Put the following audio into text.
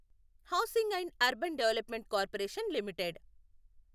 housing and urban development corporation limited